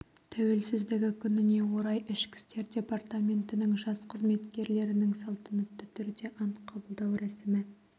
тәуелсіздігі күніне орай ішкі істер департаментінің жас қызметкерлерінің салтанатты түрде ант қабылдау рәсімі